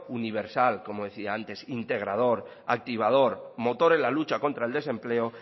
universal como decía antes integrados activador motor en la lucha contra el desempleo